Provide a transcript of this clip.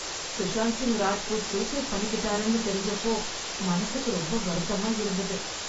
Sushant Singh Rajput suicide பண்ணிக்கிட்டாருன்னு தெரிஞ்சப்போ மனசுக்கு ரொம்ப வருத்தமா இருந்தது.